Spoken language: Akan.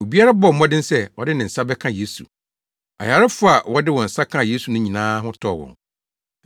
Obiara bɔɔ mmɔden sɛ ɔde ne nsa bɛka Yesu. Ayarefo a wɔde wɔn nsa kaa Yesu no nyinaa ho tɔɔ wɔn.